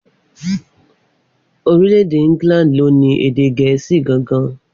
Orílè-èdè Íngílàndì ni o ni èdè gèésì gangan